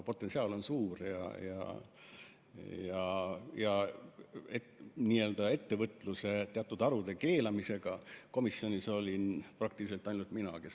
Potentsiaal on suur ja ettevõtluse teatud harude keelamise vastu olin komisjonis ainult mina.